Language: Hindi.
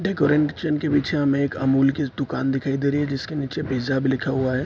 के पीछे हमें एक अमूल की दुकान दिखाई दे रही है जिसके नीचे पिज्जा भी लिखा हुआ है।